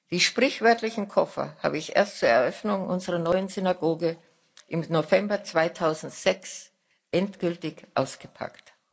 Die sprichwörtlichen Koffer habe ich erst zur Eröffnung unserer neuen Synagoge im November 2006 endgültig ausgepackt.